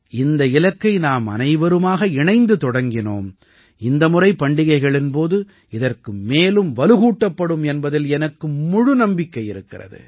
இந்த இலக்கை நாம் அனைவருமாக இணைந்து தொடங்கினோம் இந்த முறை பண்டிகைகளின் போது இதற்கு மேலும் வலுகூட்டப்படும் என்பதில் எனக்கு முழு நம்பிக்கை இருக்கிறது